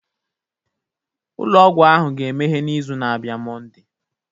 Ụlọ ọgwụ ahụ ga-emeghe n'izu na-abịa Monday